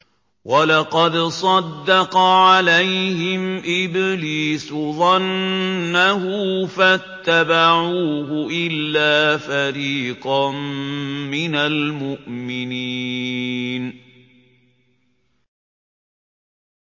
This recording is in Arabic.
وَلَقَدْ صَدَّقَ عَلَيْهِمْ إِبْلِيسُ ظَنَّهُ فَاتَّبَعُوهُ إِلَّا فَرِيقًا مِّنَ الْمُؤْمِنِينَ